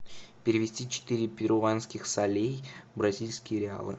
перевести четыре перуанских солей в бразильские реалы